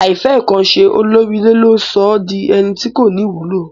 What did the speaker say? Àìfẹ́kanse olórí ilé le sọ́ di ẹni tí kò ní ìwúlò